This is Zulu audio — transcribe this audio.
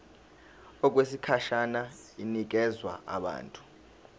okwesikhashana inikezwa abantu